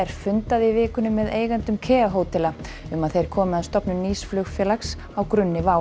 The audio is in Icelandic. fundaði í vikunni með eigendum hótela um að þeir komi að stofnun nýs flugfélags á grunni WOW